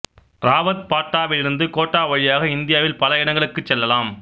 ராவத்பாட்டாவில் இருந்து கோட்டா வழியாக இந்தியாவில் பல இடங்களுக்குச் செல்லலாம்